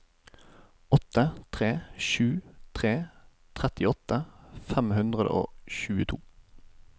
åtte tre sju tre trettiåtte fem hundre og tjueto